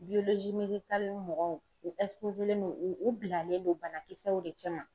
mɔgɔw don u bilalen don banakisɛw de cɛman.